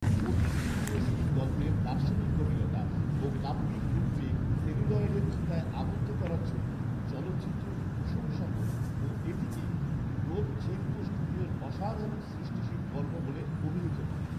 কোটিসিউবিনস্কির গল্পের দার্শনিক গভীরতা ও কাব্যিক গুণকে সেলুলয়েডের ফিতায় আবদ্ধ করার জন্য চলচ্চিত্রটির প্রশংসা করে ও এটিকে ডোভঝেঙ্কো স্টুডিওর অসাধারণ সৃষ্টিশীল কর্ম বলে অভিহিত করে